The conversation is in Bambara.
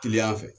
Kiliyan fɛ